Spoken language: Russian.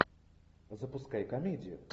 запускай комедию